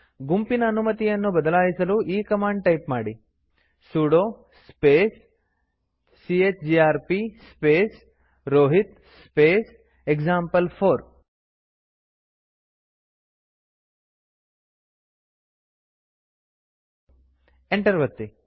ಗುಂಪಿನ ಅನುಮತಿಯನು ಬದಲಾಯಿಸಲು ಈ ಕಮಾಂಡ್ ಟೈಪ್ ಮಾಡಿ sudo space chgrp space Rohit space example four enter ಒತ್ತಿ